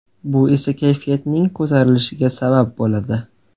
Bu esa kayfiyatning ko‘tarilishiga sabab bo‘ladi.